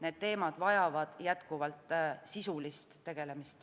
Need teemad vajavad jätkuvalt sisulist tegelemist.